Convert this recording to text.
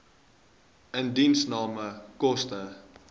indiensname koste